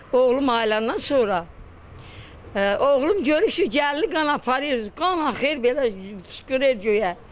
Oğlum ayılanın sonra oğlum görüb ki, gəlini qan aparır, qan axır belə şırıldayır göyə.